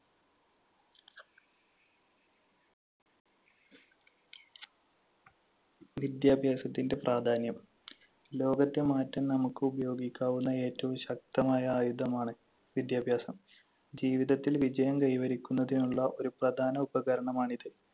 വിദ്യാഭ്യാസത്തിന്‍റെ പ്രാധാന്യം. ലോകത്തെ മാറ്റാൻ നമുക്ക് ഉപയോഗിക്കാവുന്ന ഏറ്റവും ശക്തമായ ആയുധമാണ് വിദ്യാഭ്യാസം. ജീവിതത്തിൽ വിജയം കൈവരിക്കുന്നതിനുള്ള ഒരു പ്രധാന ഉപകരണമാണിത്.